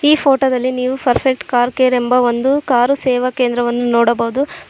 ಈ ಫೋಟೋ ದ್ದಲ್ಲಿ ನೀವು ಪರ್ಫೆಕ್ಟ್ ಕಾರ್ ಕೇರ್ ಎಂಬ ಒಂದು ಕಾರು ಸೇವಾ ಕೇಂದ್ರವನ್ನು ನೋಡಬಹುದು.